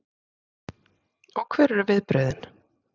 Og hver eru viðbrögðin?